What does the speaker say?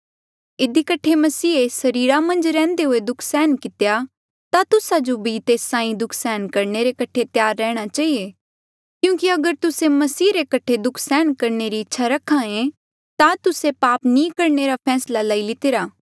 इधी कठे मसीहे सरीरा मन्झ रैहन्दे हुए दुःख सहन कितेया ता तुस्सा जो भी तेस साहीं दुःख सहन करणे रे कठे त्यार रेहणा चहिए क्यूंकि अगर तुस्से मसीह रे कठे दुःख सहन करणे री इच्छा रखायें ता तुस्से पाप नी करणे रा फैसला लेई लितिरा